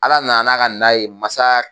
Ala nana n'a ka na ye masa